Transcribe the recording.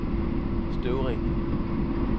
Støvring